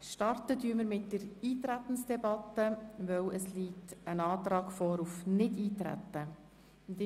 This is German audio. Wir starten mit der Eintretensdebatte, weil ein Antrag auf Nichteintreten vorliegt.